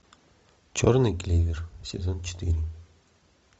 черный клевер сезон четыре